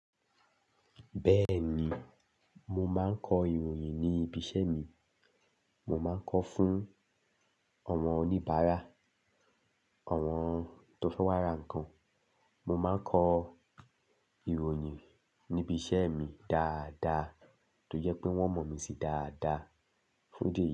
Bẹ́ẹ̀ni, mo máa ń kọ ìròyìn ní ibi iṣẹ́ mi. Mo máa ń kọ fún àwọn oníbàárà, àwọn tó fẹ́ wá ra nǹkan. Mo máa ń kọ ìròyìn níbi iṣẹ́ mi dáadáa tó jẹ́ pé wọ́n mọ̀ mí sí dáadáa. Fun idi.